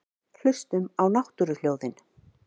Hlustum á náttúruhljóðin.